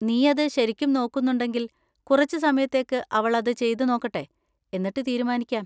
നീ അത് ശരിക്കും നോക്കുന്നുണ്ടെങ്കില്‍ കുറച്ച് സമയത്തേക്ക് അവൾ അത് ചെയ്ത് നോക്കട്ടെ, എന്നിട്ട് തീരുമാനിക്കാം.